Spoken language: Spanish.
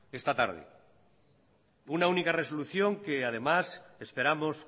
esta tarde una única resolución que además esperamos